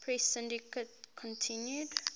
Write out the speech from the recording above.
press syndicate continued